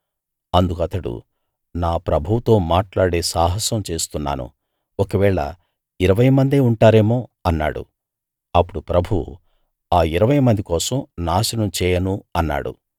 అందుకు అతడు నా ప్రభువుతో మాట్లాడే సాహసం చేస్తున్నాను ఒకవేళ ఇరవైమందే ఉంటారేమో అన్నాడు అప్పుడు ప్రభువు ఆ ఇరవైమంది కోసం నాశనం చేయను అన్నాడు